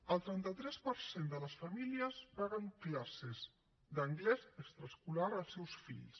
el trenta tres per cent de les famílies paguen classes d’anglès extraescolar als seus fills